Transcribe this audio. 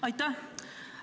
Aitäh!